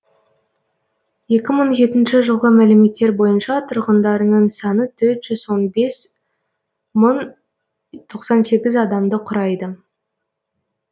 екі мың жетінші жылғы мәліметтер бойынша тұрғындарының саны төрт жүз он бес мың тоқсан сегіз адамды құрайды